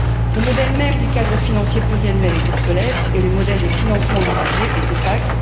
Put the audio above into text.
Le modèle même du cadre financier pluriannuel est obsolète et le modèle de financement du budget est opaque.